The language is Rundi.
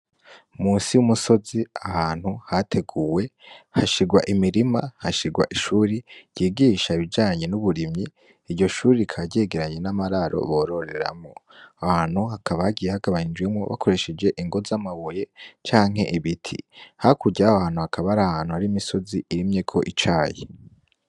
Musi y'umusozi ahantu hateguwe hashirwa imirima hashirwa ishure ryigisha ibijanye n'uburimyi, Iryo shure rikaba ryegeranye n'amararo bororeramwo ,Aho hantu hakaba hagiye hagabanga nijemwo ingo z'amabuye Canke Ibiti, hakurya yaho hantu hakaba ahantu Hari imisozi irimyeko Icayi .